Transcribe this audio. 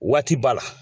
Waati ba la